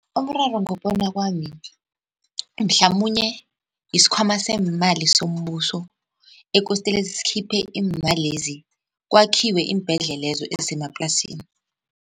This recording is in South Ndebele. Umraro ngokubona kwami mhlamunye yisikhwama seemali sombuso ekostele sikhiphe imalezi kwakhiwe iimbhedlelezo ezisemaplasini.